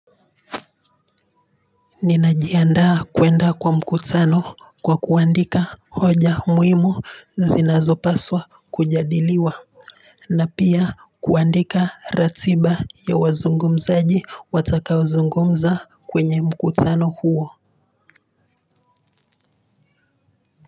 Ninajiandaa kuenda kwa mkutano kwa kuandika hoja muhimu zinazo paswa kujadiliwa na pia kuandika ratiba ya wazungumzaji watakao zungumza kwenye mkutano huo.